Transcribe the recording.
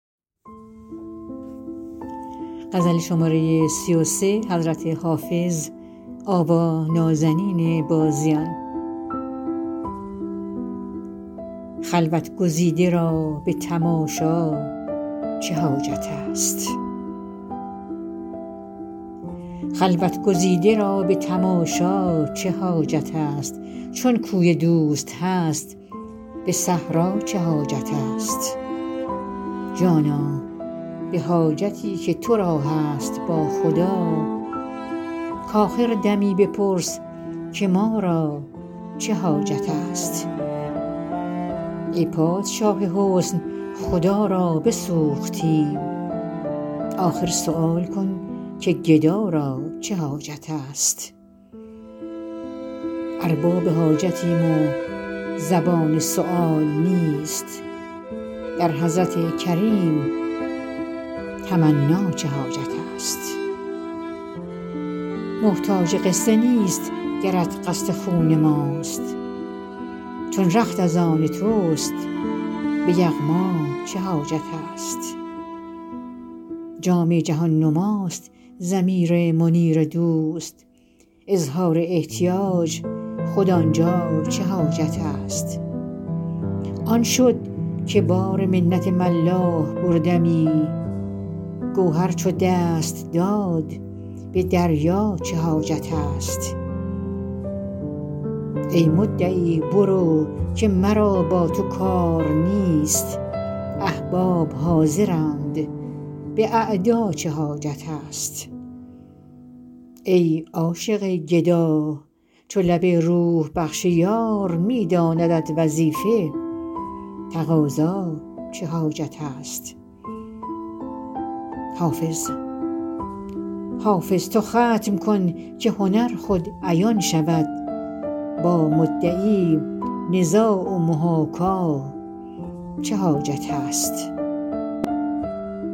خلوت گزیده را به تماشا چه حاجت است چون کوی دوست هست به صحرا چه حاجت است جانا به حاجتی که تو را هست با خدا کآخر دمی بپرس که ما را چه حاجت است ای پادشاه حسن خدا را بسوختیم آخر سؤال کن که گدا را چه حاجت است ارباب حاجتیم و زبان سؤال نیست در حضرت کریم تمنا چه حاجت است محتاج قصه نیست گرت قصد خون ماست چون رخت از آن توست به یغما چه حاجت است جام جهان نماست ضمیر منیر دوست اظهار احتیاج خود آن جا چه حاجت است آن شد که بار منت ملاح بردمی گوهر چو دست داد به دریا چه حاجت است ای مدعی برو که مرا با تو کار نیست احباب حاضرند به اعدا چه حاجت است ای عاشق گدا چو لب روح بخش یار می داندت وظیفه تقاضا چه حاجت است حافظ تو ختم کن که هنر خود عیان شود با مدعی نزاع و محاکا چه حاجت است